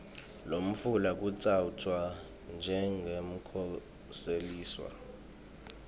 lofuna kutsatfwa njengemkhoseliswa